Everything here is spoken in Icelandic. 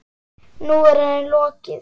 Nú er henni lokið.